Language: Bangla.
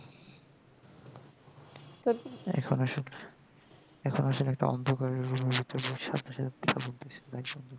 এই সমস্যা অন্ধকারের মধ্যে